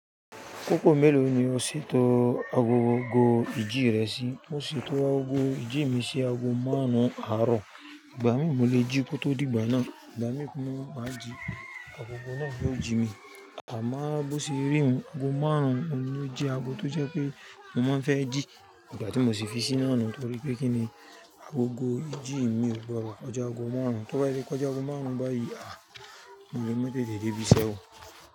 Àkókò mélòó ni o ṣètò agogo jìjí rẹ sí? Mo ṣètò agogo jìjí mi sí ago márùn-ún àárọ̀, ìgbà mi mo lè jí kó tó dìgbà náà, ìgbà mí mo le máa jí agogo náà ni ó jí mi. Àmọ́ bó ṣe rí un, ago márùn-ún ni ó jẹ́ ago tó jẹ́ pé mo máa ń fẹ́ jí ígbà tí mo sì fi sí iná nù torí pé kíni agogo jìjí mi ò gbọ̀dọ́ kọjà ago márùn-ún, tó bá tilè kọ̀já ago márùn-ún báa yìí, à! Mole ma tètè dé ibiṣẹ́ o.